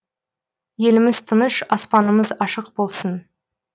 еліміз тыныш аспанымыз ашық болсын